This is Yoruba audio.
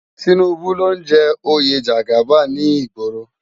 Tinubu ló n jè óyé jàgábán ni igbòró